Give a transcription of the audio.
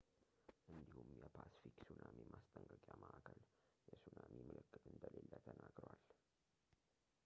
እንዲሁም የፓስፊክ ሱናሚ ማስጠንቀቂያ ማዕከል የሱናሚ ምልክት እንደሌለ ተናግሯል